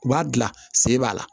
U b'a dilan sen b'a la